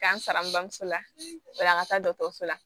K'an sara n bamuso la o la an ka taa dɔgɔtɔrɔso la